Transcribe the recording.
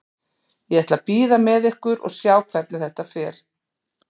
Ég ætla að bíða með ykkur og sjá hvernig þetta fer.